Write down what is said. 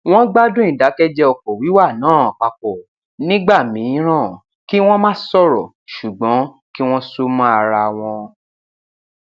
wọn gbádùn ìdákẹjẹ ọkọ wíwà náà papọ nígbà mìíràn kí wọn má sọrọ ṣùgbọn kí wọn sún mọ ara wọn